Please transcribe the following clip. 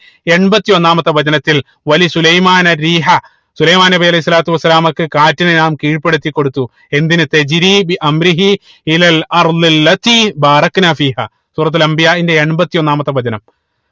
എമ്പത്തി ഒന്നാമത്തെ വചനത്തിൽ സുലൈമാന സുലൈമാൻ നബി അലൈഹി സ്വലാത്തു വസ്സലാമക്ക് കാറ്റിനെ നാം കീഴ്‌പ്പെടുത്തി കൊടുത്തു എന്തിന് സൂറത്തുൽ അംബിയാഇന്റെ എമ്പതി ഒന്നാമത്തെ വചനം